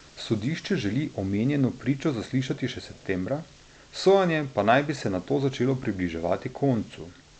Sodišče želi omenjeno pričo zaslišati še septembra, sojenje pa naj bi se nato začelo približevati koncu.